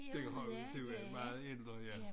Det har du det meget ændret ja